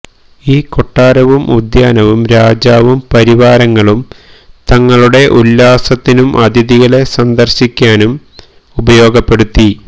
ഈ കൊട്ടാരവും ഉദ്യാനവും രാജാവും പരിവാരങ്ങളും തങ്ങളുടെ ഉല്ലാസത്തിനും അതിഥികളെ സന്ദർശിക്കാനും ഉപയോഗപ്പെടുത്തി